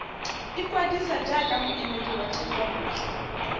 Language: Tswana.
ikwadisa jaaka moemedi wa thekontle